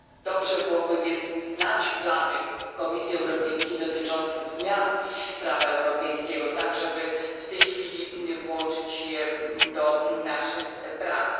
Dobrze byłoby więc znać plany Komisji Europejskiej dotyczące zmian prawa europejskiego, tak żeby w już obecnie włączyć je do naszych prac.